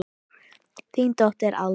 Þín dóttir, Alda.